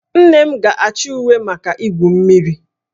Nne m ga-achọ uwe maka igwu mmiri